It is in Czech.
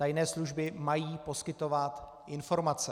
Tajné služby mají poskytovat informace.